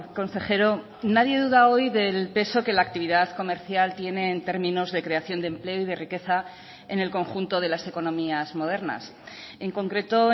consejero nadie duda hoy del peso que la actividad comercial tiene en términos de creación de empleo y de riqueza en el conjunto de las economías modernas en concreto